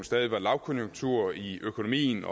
stadig var lavkonjunktur i økonomien